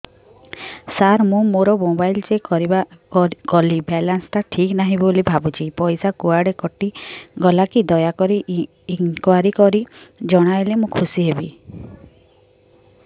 ସାର ମୁଁ ମୋର mobile check କଲି ବାଲାନ୍ସ ଟା ଠିକ ନାହିଁ ବୋଲି ଭାବୁଛି ପଇସା କୁଆଡେ କଟି ଗଲା କି ଦୟାକରି ଇନକ୍ୱାରି କରି ଜଣାଇଲେ ମୁଁ ଖୁସି ହେବି